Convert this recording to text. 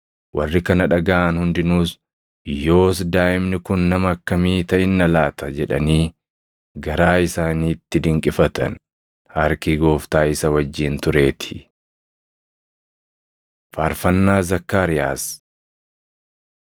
Warri kana dhagaʼan hundinuus, “Yoos daaʼimni kun nama akkamii taʼinna laata?” jedhanii garaa isaaniitti dinqifatan. Harki Gooftaa isa wajjin tureetii. Faarfannaa Zakkaariyaas